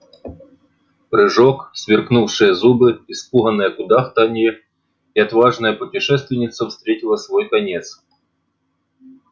прыжок сверкнувшие зубы испуганное кудахтанье и отважная путешественница встретила свой конец